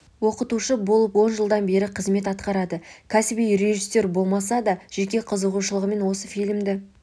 оқытушы болып он жылдан бері қызмет атқарады кәсіби режиссер болмаса да жеке қызығушылығымен осы фильмді